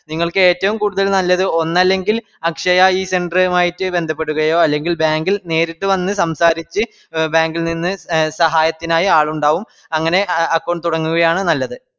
നിങ്ങൾക്ക്‌ ഏറ്റവും കൂടുതൽ നല്ലത്‌ ഒന്നല്ലെങ്കിൽ അക്ഷയ e-centre ഉ മായിട്ട് ബന്ധപ്പെടുകയോ അല്ലെങ്കിൽ bank ഇൽ നേരിട്ട് വന്ന് സംസരിച്‌ എ bank ഇൽ നിന്ന് എ സഹായത്തിനായി ആളുണ്ടാകും അങ്ങനെ അഹ് account തുടങ്ങുകയാണ് നല്ലത്